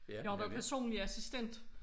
Jeg har jo været personlig assistent